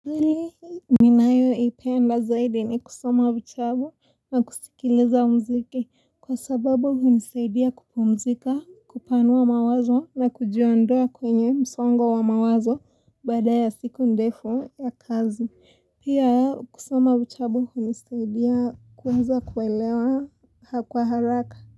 Nayoipenda zaidi ni kusoma vitabu na kusikiliza mziki kwa sababu hunisaidia kupumzika kupanua mawazo na kujiondoa kwenye msongo wa mawazo bqada ya siku ndevu ya kazi. Pia kusoma vitabu hunisaidia kuweza kuelewa kwa haraka.